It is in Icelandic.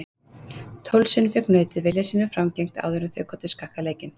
Tólf sinnum fékk nautið vilja sínum framgengt áður en þau gátu skakkað leikinn.